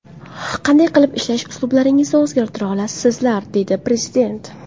Qanday qilib ishlash uslublaringizni o‘zgartira olasizlar?”, deydi Prezident.